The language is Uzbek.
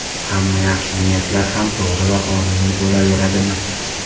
Hamma yaxshi niyatlar ham to‘g‘ri va qonuniy bo‘laveradimi?